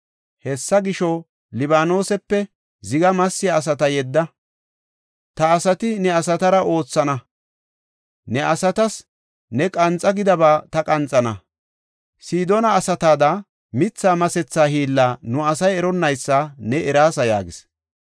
Hessa gisho, Libaanosepe ziga massiya asata yedda; ta asati ne asatara oothana. Ne asatas ne qanxa gidaba ta qanxana. Sidoona asatada mithaa masetha hiilla nu asay eronnaysa ne eraasa” yaagis.